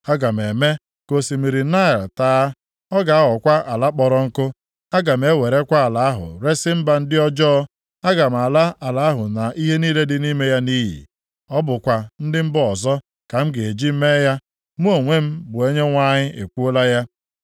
Aga m eme ka osimiri Naịl taa. Ọ ga-aghọkwa ala kpọrọ nkụ. Aga m ewerekwa ala ahụ resi mba ndị ọjọọ. Aga m ala ala ahụ na ihe niile dị nʼime ya nʼiyi. Ọ bụkwa ndị mba ọzọ ka m ga-eji mee ya. Mụ onwe m bụ Onyenwe anyị ekwuola ya.